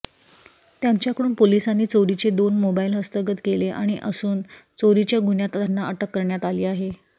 त्यांच्याकडून पोलिसांनी चोरीचे दोन मोबाईल हस्तगत केले असून चोरीच्या गुन्ह्यात त्यांना अटक करण्यात आली आहे